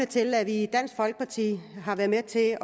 til at vi i dansk folkeparti har været med til at